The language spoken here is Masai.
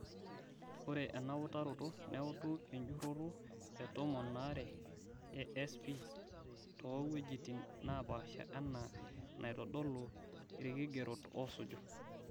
Ore ena utaroto neuutu enjuroto etomon aare ee SP too ng'wejitin napaasha enaa enaitodolu irkigerot oosuju.